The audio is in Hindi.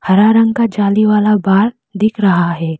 हरा रंग का जाली वाला बाग दिख रहा है।